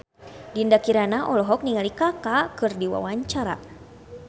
Dinda Kirana olohok ningali Kaka keur diwawancara